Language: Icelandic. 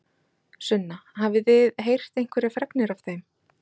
Sunna: Hafið þið heyrt einhverjar fregnir af þeim?